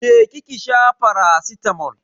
Je ki ki sha faracitamol.